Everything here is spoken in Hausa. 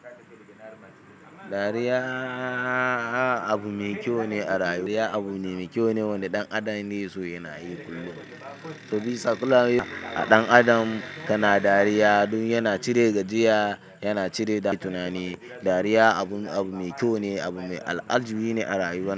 Dariya abu mai kyau ne a rayuwa. Ya abune mai kyau ne wanda ɗan adam ya keso yana yi kullum. Sabida sakulawun a ɗan adam tana dariya, dun yana cire gajiya, yana cire tunani. Dariya abu, abu mai kyau ne, abu mai al'ajibi ne a rayuwa.